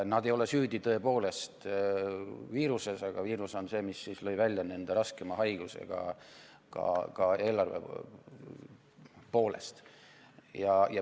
Nad ei ole tõepoolest süüdi viiruses, aga viirus on see, mis tõi välja nende raskema haiguse ka eelarve poolest.